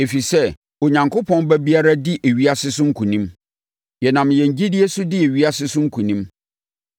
ɛfiri sɛ, Onyankopɔn ba biara di ewiase so nkonim. Yɛnam yɛn gyidie so di ewiase so nkonim.